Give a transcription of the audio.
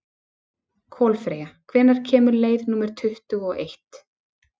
Kolfreyja, hvenær kemur leið númer tuttugu og eitt?